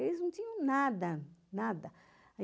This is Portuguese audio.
Eles não tinham nada, nada.